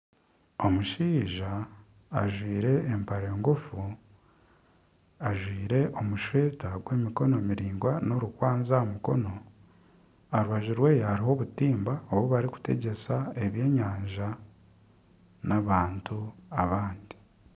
Omushaija ajwire empare ngufu, ajwire omushweta gw'emikono miringwa n'orukwanzi aha mukono, aha rubaju rwe hariho obutimba obu barikutegyesa ebyenyanja n'abantu abandi